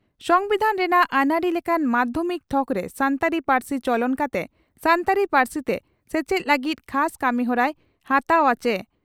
ᱥᱚᱢᱵᱤᱫᱷᱟᱱ ᱨᱮᱱᱟᱜ ᱟᱹᱱᱟᱹᱨᱤ ᱞᱮᱠᱟᱛᱮ ᱢᱟᱫᱷᱭᱚᱢᱤᱠ ᱛᱷᱚᱠ ᱨᱮ ᱥᱟᱱᱛᱟᱲᱤ ᱯᱟᱹᱨᱥᱤ ᱪᱚᱞᱚᱱ ᱠᱟᱛᱮ ᱥᱟᱱᱛᱟᱲᱤ ᱯᱟᱹᱨᱥᱤᱛᱮ ᱥᱮᱪᱮᱫ ᱞᱟᱹᱜᱤᱫ ᱠᱷᱟᱥ ᱠᱟᱹᱢᱤᱦᱚᱨᱟᱭ ᱦᱟᱛᱟᱣ ᱟ ᱪᱮ?